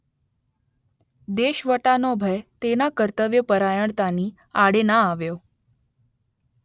દેશવટાનો ભય તેના કર્તવ્યપરાયણતાની આડે ના આવ્યો